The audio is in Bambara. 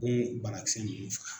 mun banakisɛ ninnu faga.